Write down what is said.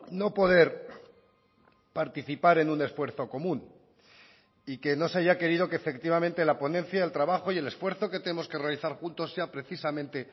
no poder participar en un esfuerzo común y que no se haya querido que efectivamente la ponencia el trabajo y el esfuerzo que tenemos que realizar juntos sea precisamente